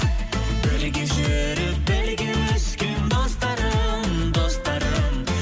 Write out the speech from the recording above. бірге жүріп бірге өскен достарым достарым